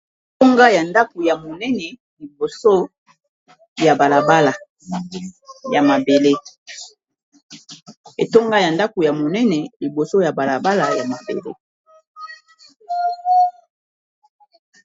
Etonga ya ndako ya monene liboso ya balabala ya mabele.